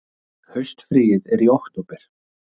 Haustfríið er í október.